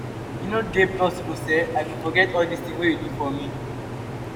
e no dey possible sey i go forget all dis tin wey you do for me.